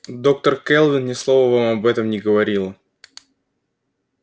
доктор кэлвин ни слова вам об этом не говорила